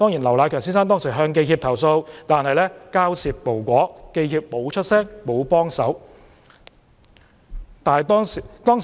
劉迺強先生當時向香港記者協會投訴，但交涉無果，記協沒有發聲，沒有幫忙。